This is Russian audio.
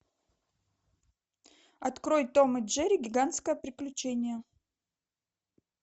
открой том и джерри гигантское приключение